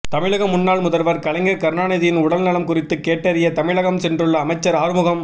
தமிழக முன்னாள் முதல்வர் கலைஞர் கருணாநிதியின் உடல்நலம் குறித்து கேட்டறிய தமிழகம் சென்றுள்ள அமைச்சர் ஆறுமுகம்